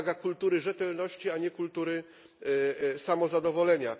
To wymaga kultury rzetelności, a nie kultury samozadowolenia.